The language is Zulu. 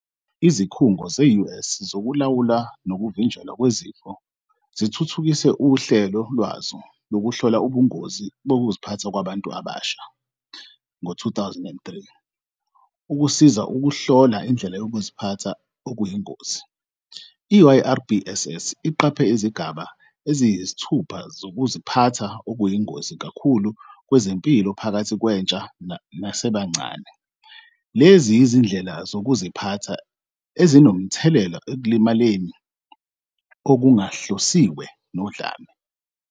Izikhungo ze- US zokuLawulwa nokuVinjelwa kwezifo zithuthukise uhlelo lwazo lokuhlola ubungozi bokuziphatha kwabantu abasha, YRBSS, ngo-2003 ukusiza ukuhlola indlela yokuziphatha okuyingozi. I-YRBSS iqaphe izigaba eziyisithupha zokuziphatha okuyingozi kakhulu kwezempilo phakathi kwentsha nasebancane. Lezi yizindlela zokuziphatha ezinomthelela ekulimaleni okungahlosiwe nodlame,